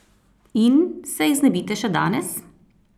In se jih znebite še danes!